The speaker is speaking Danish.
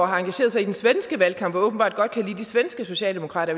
har engageret sig i den svenske valgkamp og åbenbart godt kan lide de svenske socialdemokrater